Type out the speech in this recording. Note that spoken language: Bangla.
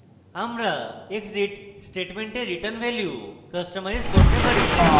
আমরা exit স্টেটমেন্টের return value কাস্টমাইজ করতে পারি